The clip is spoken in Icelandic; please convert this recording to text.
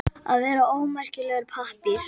Að vera ómerkilegur pappír